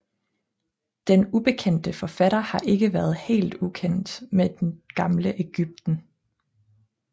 Den ubekendte forfatter har ikke været helt ukendt med det gamle Ægypten